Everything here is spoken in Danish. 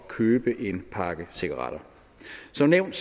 købe en pakke cigaretter som nævnt